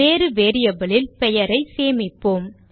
வேறு variable லில் பெயரை சேமிப்போம்